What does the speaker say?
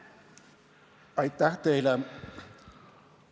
Aitäh teile!